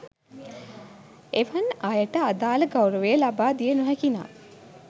එවන් අයට අදාළ ගෞරවය ලබා දිය නොහැකිනම්